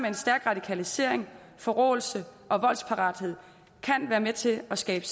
en stærk radikalisering forråelse og voldsparathed kan være med til at skabe